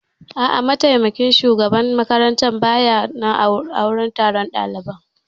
A'a, mataimakin shugaban makaranta ba ya wurin taron ɗalibai